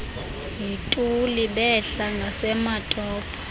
yituli behla ngasematopo